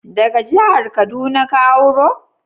Daga jihar kaduna ka auro?